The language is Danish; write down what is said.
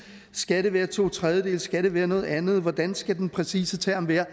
skal det være to tredjedele skal det være noget andet hvordan skal den præcise term være